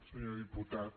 senyor diputat